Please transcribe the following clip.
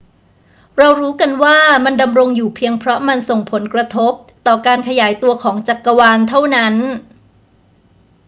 เรารู้กันว่ามันดำรงอยู่เพียงเพราะมันส่งผลกระทบต่อการขยายตัวของจักรวาลเท่านั้น